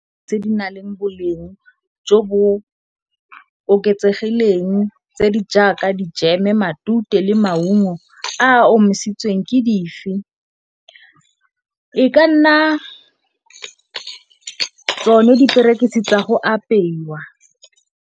Tse di na leng boleng jo bo oketsegileng tse di jaaka dijeme, matute le maungo a a omisitsweng ke dife? E ka nna tsone diperekisi tsa go apeiwa.